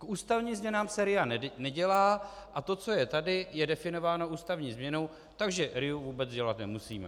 K ústavním změnám se RIA nedělá, a to, co je tady, je definováno ústavní změnou, takže RIA vůbec dělat nemusíme.